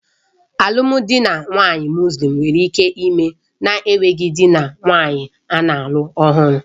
Alụmdi na nwunye Mọslem nwere ike ime na-enweghị dị na nwunye ana-alụ ọhụrụ